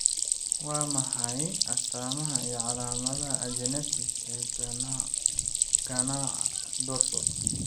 Waa maxay astamaha iyo calaamadaha Agenesis ee ganaca dorsal?